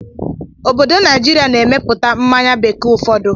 Obodo Naijiria na-emepụta mmanya bekee ụfọdụ